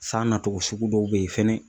San nacogo sugu dɔw bɛ yen fɛnɛ.